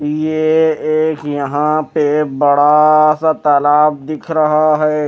ये एक यहाँ पे बड़ा सा तालाब दिख रहा है।